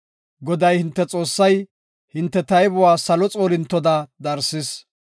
Goday, hinte Xoossay hinte taybuwa salo xoolintoda darsis.